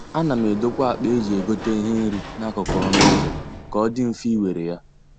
A na m edokwa akpa eji egote ihe nri n'akụkụ ọnụ ụzọ ka ọ dị mfe ị were ya.